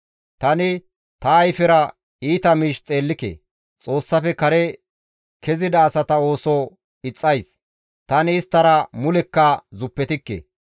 Tani ta ayfera iita miish xeellike; Xoossafe kare kezida asata ooso ixxays; tani isttara mulekka zuppetikke.